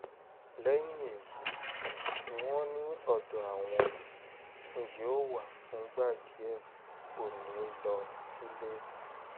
lẹ́yìn èyí ni wọ́n ní ọ̀dọ̀ àwọn ni yóò wà fúngbà díẹ̀ kó ní í lè lọ sílé